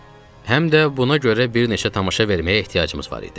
Həm də buna görə bir neçə tamaşa verməyə ehtiyacımız var idi.